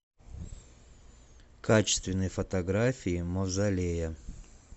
качественные фотографии мавзолея